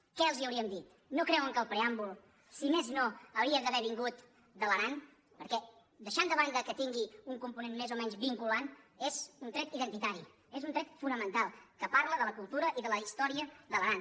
què els hauríem dit no cre·uen que el preàmbul si més no hauria d’haver vin·gut de l’aran perquè deixant de banda que tingui un component més o menys vinculant és un tret identita·ri és un tret fonamental que parla de la cultura i de la història de l’aran